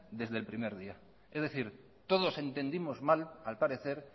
desde el primer día es decir todos entendimos mal al parecer